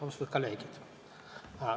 Austatud kolleegid!